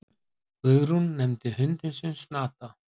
Guðrún nefndi hundinn sinn Snata.